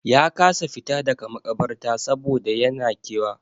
Ya kasa fita daga maƙabarta saboda yan na kewa.